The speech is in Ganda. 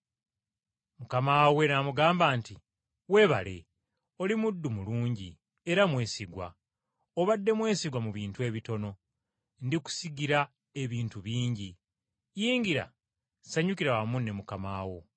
“Mukama we n’amugamba nti, ‘Weebale, oli muddu mulungi era mwesigwa, obadde mwesigwa mu bintu ebitono, ndikusigira ebintu ebingi. Yingira sanyukira wamu ne mukama wo.’